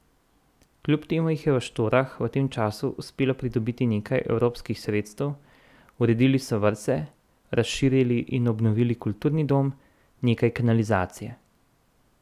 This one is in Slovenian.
Kljub temu jim je v Štorah v tem času uspelo pridobiti nekaj evropskih sredstev, uredili so vrtec, razširili in obnovili kulturni dom, nekaj kanalizacije.